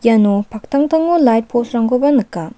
iano paktangtango lait pos rangkoba nika.